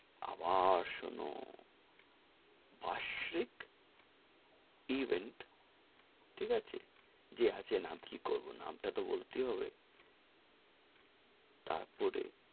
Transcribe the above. আবার শোনো বাসরিক event ঠিক আছে, যে আছে নাম, কি করবো নাম টা, তো বলতেই হবে,